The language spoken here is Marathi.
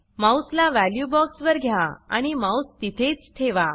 माउस ला वॅल्यू बॉक्स वर घ्या आणि माउस तिथेच ठेवा